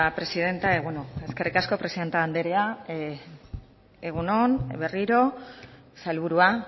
presidenta y bueno eskerrik asko presidente andrea egun on berriro sailburua